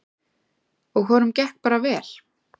Og honum gekk bara vel.